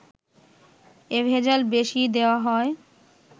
এ ভেজাল বেশি দেয়া হয়